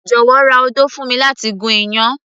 jọ̀wọ́ ra odó fún mi láti gún iyán